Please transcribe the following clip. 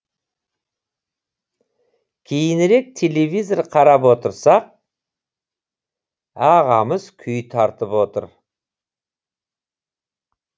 кейінірек телевизор қарап отырсақ ағамыз күй тартып отыр